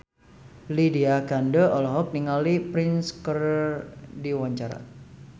Lydia Kandou olohok ningali Prince keur diwawancara